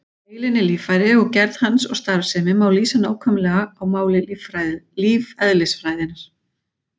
Heilinn er líffæri og gerð hans og starfsemi má lýsa nákvæmlega á máli lífeðlisfræðinnar.